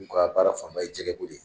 U k'a baara fanba ye jɛgɛko de ye